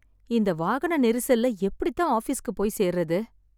இந்த வாகன நெரிசல்ல எப்படித்தான் ஆபீஸ்க்கு போய் சேர்றது